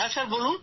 হ্যাঁ স্যার